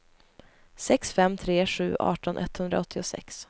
sex fem tre sju arton etthundraåttiosex